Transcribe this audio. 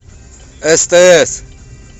стс